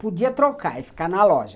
Podia trocar e ficar na loja.